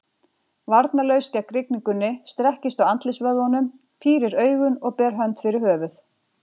Varnarlaus gegn rigningunni, strekkist á andlitsvöðvunum, pírir augun og ber hönd fyrir höfuð.